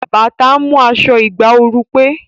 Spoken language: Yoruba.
Bàtà ń mú aṣọ ìgbà ooru pé